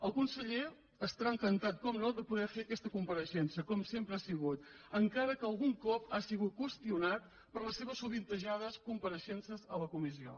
el conseller estarà encantat per descomptat de poder fer aquesta compareixença com sempre ha sigut encara que algun cop ha sigut qüestionat per les seves sovintejades compareixences a la comissió